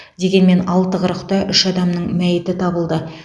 дегенмен алты қырықта үш адамның мәйіті табылды